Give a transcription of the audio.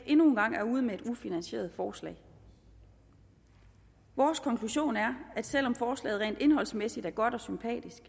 endnu en gang er ude med et ufinansieret forslag vores konklusion er at selv om forslaget rent indholdsmæssigt er godt og sympatisk